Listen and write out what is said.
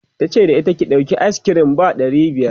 tace da ita," ki ɗauki ayis kirim ba ɗari biyar!'